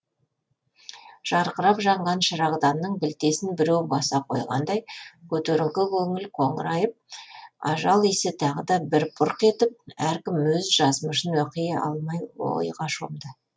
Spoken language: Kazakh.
жарқырап жанған шырағданның білтесін біреу баса қойғандай көтеріңкі көңілдер қоңырайып ажал иісі тағы да бір бұрқ етіп әркім өз жазмышын оқи алмай ойға шомды